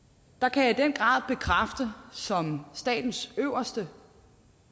kan jeg som statens øverste